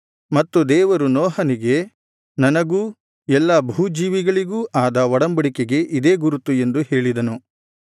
ಮತ್ತು ದೇವರು ನೋಹನಿಗೆ ನನಗೂ ಎಲ್ಲಾ ಭೂಜೀವಿಗಳಿಗೂ ಆದ ಒಡಂಬಡಿಕೆಗೆ ಇದೇ ಗುರುತು ಎಂದು ಹೇಳಿದನು